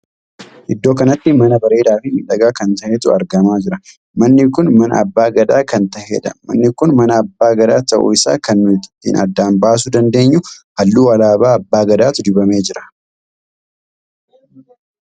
Iddoo kanatti mana bareedaa fi miidhagaa kan tahetu argamaa jira. manni kun mana abbaa gadaa kan taheedha. manni kun mana abbaa gadaa tahuu isaa kan nuti ittiin addaan baasuu dandeenyu halluu alaabaa abbaa gadaatu dibamee jira.